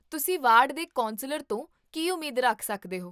ਤੁਸੀਂ ਵਾਰਡ ਦੇ ਕੌਂਸਲਰ ਤੋਂ ਕੀ ਉਮੀਦ ਰੱਖ ਸਕਦੇ ਹੋ?